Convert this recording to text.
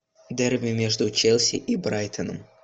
дерби между челси и брайтоном